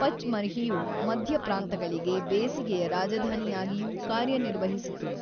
ಪಚ್‌ಮರ್ಹಿಯು ಮಧ್ಯ ಪ್ರಾಂತ್ಯಗಳಿಗೆ ಬೇಸಿಗೆಯ ರಾಜಧಾನಿಯಾಗಿಯೂ ಕಾರ್ಯನಿರ್ವಹಿಸಿತು.